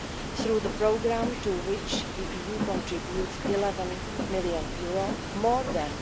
Through the programme, to which the EU contributes EUR 11 million, more than